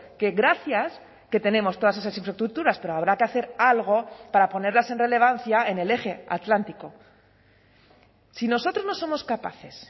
que gracias que tenemos todas esas infraestructuras pero habrá que hacer algo para ponerlas en relevancia en el eje atlántico si nosotros no somos capaces